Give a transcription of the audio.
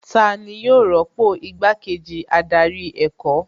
Tani yóò rọ́pò igbá kejì adarí ẹ̀kọ́